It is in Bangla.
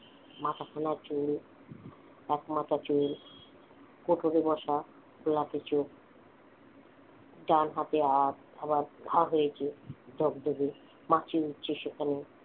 মাথা খোলা চুল এক মাথা চুল কোটরে বসা গোলাপি চোখ ডান হাতে আবার ঘা হয়েছে ডগ ডগে মাছি উড়ছে সেখানে